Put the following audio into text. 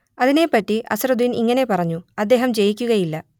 അതിനെപ്പറ്റി അസ്ഹറുദ്ദീൻ ഇങ്ങനെ പറഞ്ഞു അദ്ദേഹം ജയിക്കുകയില്ല